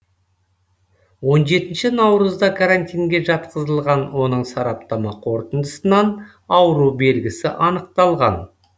он жетінші наурызда карантинге жатқызылған оның сараптама қорытындысынан ауру белгісі анықталған